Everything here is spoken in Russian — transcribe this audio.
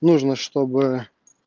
нужно чтобы